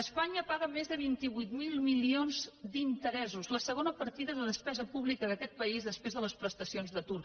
espanya paga més de vint vuit mil milions d’interessos la segona partida de despesa pública d’aquest país després de les prestacions d’atur